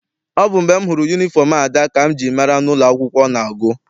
Ọ bụ mgbe m hụrụ yunifọm Ada ka m ji mara n'ụlọ akwụkwọ ọ na-agụ.